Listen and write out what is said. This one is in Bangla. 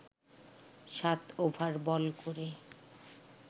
সাত ওভার বল করে